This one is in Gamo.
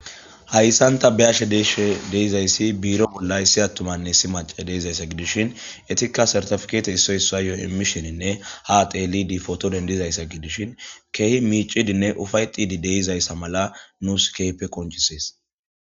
Hayssanta be ashe deeshe deizayssi biiro bolla issi attumanne si mace deizayssa gidishin etikka sartafkete issoy issa yo'oy imisheninne ha teelidi potodendizayssa gidishin keehi miicidinne ufay xidi deizayssa mala nuus keype qoncisees.